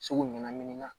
Segu ɲagamin na